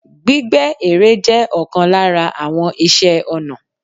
Gbígbẹ ere jẹ́ òkan lára àwon ìṣe ọnà